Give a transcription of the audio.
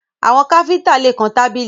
Àwọn kífíńtà lè kan tábìlì